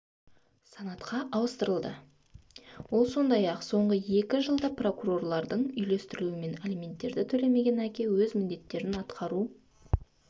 санатқа ауыстырылды ол сондай-ақ соңғы екі жылда прокурорлардың үйлестірілуімен алименттерді төлемеген әке өз міндеттерін атқару